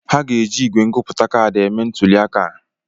Ha ga-eji ígwè ngụpụta kaadị eme ntuli aka a.